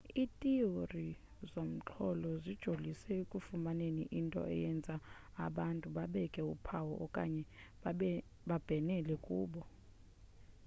ithiyori zomxholo zijolise ekufumaneni into eyenza abantu babeke uphawu okanye babhenele kubo